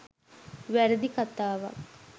වැරදි කථාවක්.